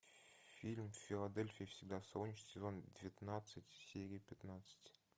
фильм в филадельфии всегда солнечно сезон девятнадцать серия пятнадцать